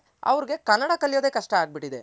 ಅವರ್ಗೆ ಕನ್ನಡ ಕಲಿಯೋದೇ ಕಷ್ಟ ಆಗ್ಬಿಟ್ಟಿದೆ